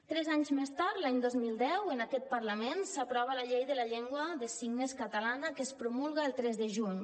tres anys més tard l’any dos mil deu en aquest parlament s’aprova la llei de la llengua de signes catalana que es promulga el tres de juny